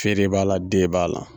Feeren b'a la den b'a la